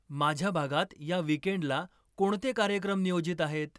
माझ्या भागात या वीकेंड्ला कोणते कार्यक्रम नियोजित आहेत